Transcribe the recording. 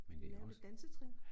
Lære lidt dansetrin